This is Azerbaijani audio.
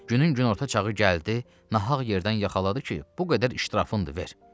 Günün günorta çağı gəldi, nahaq yerdən yaxaladı ki, bu qədər işdir, haqqındır, ver.